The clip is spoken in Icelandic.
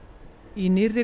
í nýrri